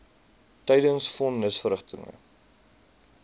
tydens von nisverrigtinge